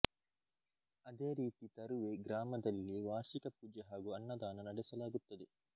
ಅದೇ ರೀತಿ ತರುವೆ ಗ್ರಾಮದಲ್ಲಿ ವಾರ್ಷಿಕ ಪೂಜೆ ಹಾಗೂ ಅನ್ನದಾನ ನಡೆಸಲಾಗುತ್ತದೆ